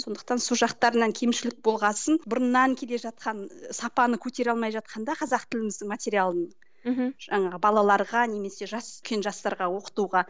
сондықтан сол жақтарынан кемшілік болғасын бұрыннан келе жатқан сапаны көтере алмай жатқанда қазақ тіліміздің материалын мхм жаңағы балаларға немесе жас жастарға оқытуға